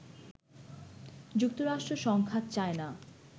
যুক্তরাষ্ট্র সংঘাত চায় না